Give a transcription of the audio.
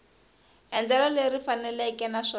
endlelo leri ri faneleke naswona